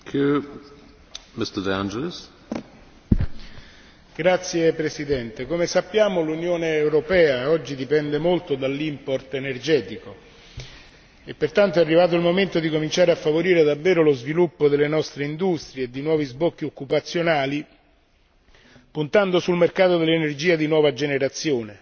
Signor Presidente, onorevoli colleghi, come sappiamo l'Unione europea oggi dipende molto dall'import energetico e pertanto è arrivato il momento di cominciare a favorire davvero lo sviluppo delle nostre industrie e di nuovi sbocchi occupazionali, puntando sul mercato dell'energia di nuova generazione.